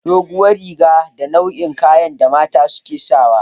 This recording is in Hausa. Duguwar riga wani nau'in kayane da mata suke sawa.